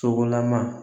Sogolama